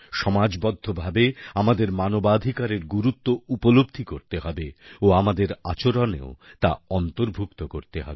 সমাজবদ্ধভাবে আমাদের মানবাধিকারের গুরুত্ব উপলব্ধি করতে হবে ও আমাদের আচরণেও তা অন্তর্ভুক্ত করতে হবে